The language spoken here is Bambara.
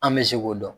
An bɛ se k'o dɔn